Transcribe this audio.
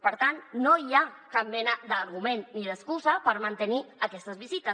per tant no hi ha cap mena d’argument ni d’excusa per mantenir aquestes visites